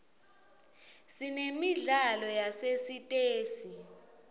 sinemidlalo yasesitesi